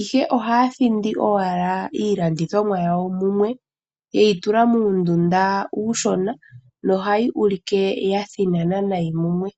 ihe ohaa thindi owala iilandithomwa yawo mumwe yeyi tula muundunda uushona, no hayi ulike ya thinana nayi mumwe.